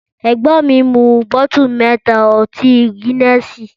Ẹgbon mi, mú bótù mẹ́tà ọti gínẹsì.